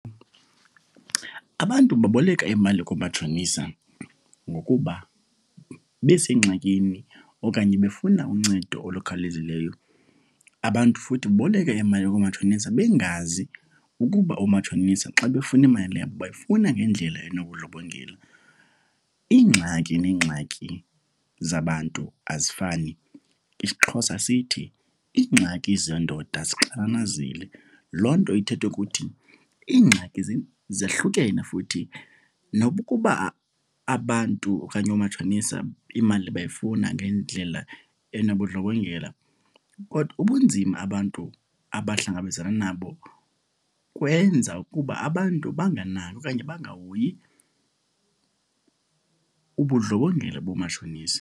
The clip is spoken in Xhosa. Abantu baboleka imali koomatshonisa ngokuba besengxakini okanye befuna uncedo olukhawulezileyo. Abantu futhi baboleke imali koomatshonisa bengazi ukuba oomatshonisa xa befuna imali yabo bayifuna ngendlela enobundlobongela. Iingxaki neengxaki zabantu azifani. IsiXhosa sithi iingxaki zendoda zixananazileyo, loo nto ithetha ukuthi ingxaki zehlukene futhi nokuba abantu okanye oomatshonisa imali bayifuna ngendlela enobundlobongela kodwa ubunzima abantu abahlangabezana nabo kwenza ukuba abantu bangakanaki okanye bangahoyi ubundlobongela boomatshonisa.